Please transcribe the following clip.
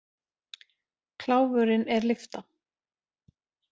Kláfurinn er lyfta.